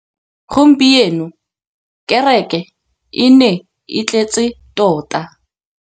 Gompieno kêrêkê e ne e tletse tota.